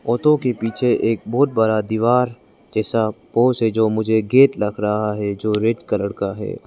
Auto के पीछे एक बहुत बड़ा दीवार जैसा आंखों से जो मुझे गेट लग रहा है जो रेड कलर का है।